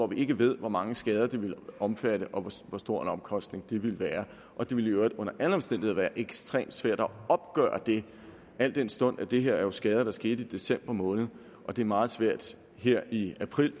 vi ikke ved hvor mange skader det ville omfatte og hvor stor en omkostning det ville være det ville i øvrigt under alle omstændigheder være ekstremt svært at opgøre det al den stund at det her er skader der skete i december måned det er meget svært her i april